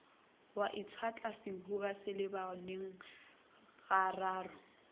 wa itshetla sehuba selebaneng gararo